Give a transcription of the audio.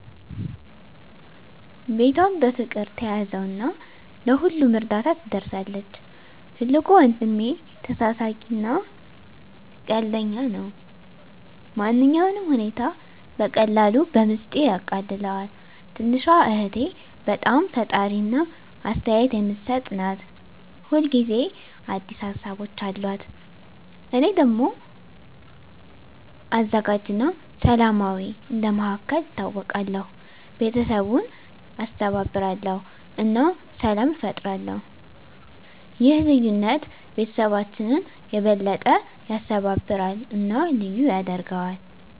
ቤቷን በፍቅር ትያዘው እና ለሁሉም እርዳታ ትደርሳለች። ትልቁ ወንድሜ ተሳሳቂ እና ቀልደኛ ነው። ማንኛውንም ሁኔታ በቀላሉ በሚስጥር ያቃልለዋል። ትንሹ እህቴ በጣም ፈጣሪ እና አስተያየት የምትሰጥ ናት። ሁል ጊዜ አዲስ ሀሳቦች አሉት። እኔ ደግሞ አዘጋጅ እና ሰላማዊ እንደ መሃከል ይታወቃለሁ። ቤተሰቡን ያስተባብራል እና ሰላም ይፈጥራል። ይህ ልዩነት ቤተሰባችንን የበለጠ ያስተባብራል እና ልዩ ያደርገዋል።